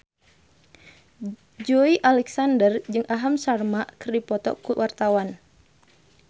Joey Alexander jeung Aham Sharma keur dipoto ku wartawan